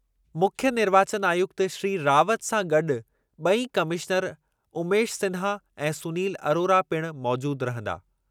मुख्यु निर्वाचन आयुक्त श्री रावत सां गॾु ॿई कमिशनर उमेश सिन्हा ऐं सुनील अरोरा पिणु मौजूदु रहंदा।